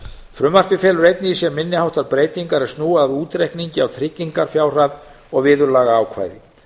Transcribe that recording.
frumvarpið felur einnig í sér minni háttar breytingar er snúa að útreikningi á tryggingafjárhæð og viðurlagaákvæði